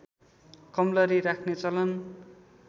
कमलरी राख्ने चलन